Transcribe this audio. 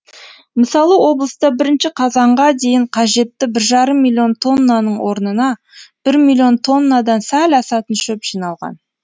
мысалы облыста бірінші қазанға дейін қажетті бір жарым миллион тоннаның орнына бір миллион тоннадан сәл асатын шөп жиналған